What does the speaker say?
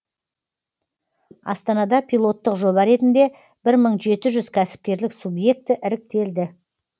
астанада пилоттық жоба ретінде бір мың жеті жүз кәсіпкерлік субъекті іріктелді